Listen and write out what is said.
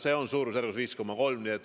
See on siis veel 5,3 miljonit.